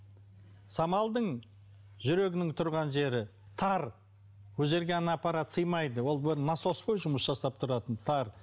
самалдың жүрегінің тұрған жері тар ол жерге ана аппарат сыймайды ол бір насос қой жұмыс жасап тұратын тар